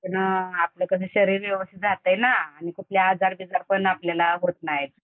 त्यानं कसं आपलं शरीर व्यवस्थित राहतंय ना, आणि कुठले आजार बिजार पण आपल्याला होत नाहीत.